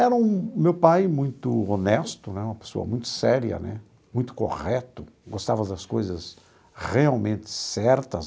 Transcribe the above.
Era o meu pai muito honesto né, uma pessoa muito séria né, muito correto, gostava das coisas realmente certas.